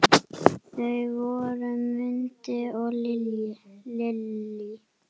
Þau voru Mundi og Lillý.